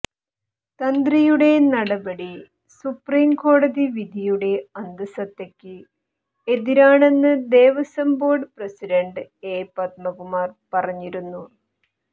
തന്ത്രിയുടെ നടപടി സുപ്രീം കോടതി വിധിയുടെ അന്തസത്തയക്ക് എതിരാണെന്ന് Devaswom board president A Padmakumar പറഞ്ഞിരുന്നു